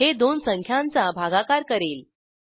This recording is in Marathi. हे दोन संख्यांचा भागाकार करेल